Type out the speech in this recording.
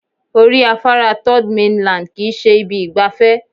Orí afárá third mainland kì í ṣe ibi ìgbafẹ́